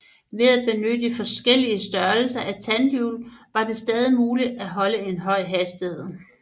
Ved at benytte forskellige størrelser af tandhjul var det stadig muligt at holde en høj hastighed